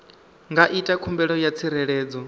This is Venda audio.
nga ita khumbelo ya tsireledzo